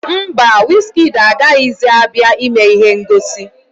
Mba, wizkịdi agaghịzi abịa ime ihe ngosi